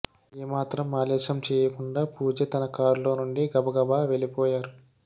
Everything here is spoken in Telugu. ఏమాత్రం ఆలస్యం చేయకుండా పూజ తన కారులో అక్కడి నుంచి గబగబా వెళ్లిపోయారు